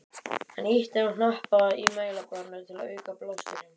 Hann ýtti á hnappa í mælaborðinu til að auka blásturinn.